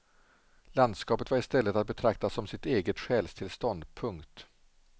Landskapet var i stället att betrakta som sitt eget själstillstånd. punkt